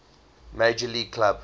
major league club